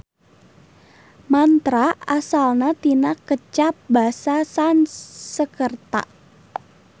Mantra asalna tina kecap basa Sanskerta.